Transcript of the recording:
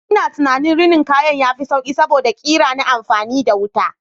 Ina ganin rinin kaya yafi sauƙi saboda ƙira na amfani da wuta.